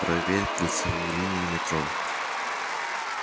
проверь кольцевую линию метро